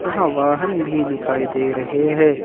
यहां वाहन भी दिखाई दे रहे हैं।